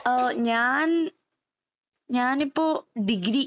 ഓ ഞാൻ ഞാനിപ്പോ ഡിഗ്രി.